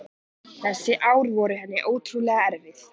Þessi ár voru henni ótrúlega erfið.